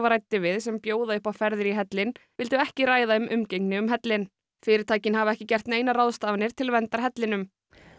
ræddi við sem bjóða upp á ferðir í hellinn vildu ekki ræða um umgengni um hellinn fyrirtækin hafa ekki gert neinar ráðstafanir til verndar hellinum